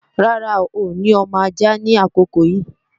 Rárá, n ò ní ọmọ ajá ni àkókò yí